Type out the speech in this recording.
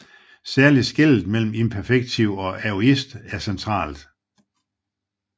Særlig skellet mellem imperfektiv og aorist er centralt